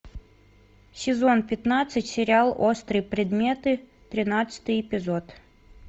сезон пятнадцать сериал острые предметы тринадцатый эпизод